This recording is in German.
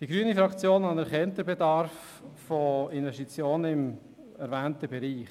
Die grüne Fraktion anerkennt den Bedarf an Investitionen im erwähnten Bereich.